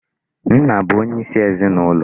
Nna bụ onyeisi ezinụlọ.